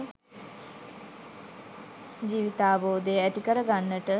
ජීවිතාවබෝධය ඇති කරගන්නට.